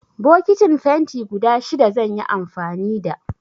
Bokitin fenti guda shida zan yi amfani da.